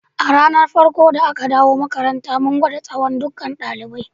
A ranan farko da aka dawo makaranta, mun gwada tsawon ɗukkan dalibai.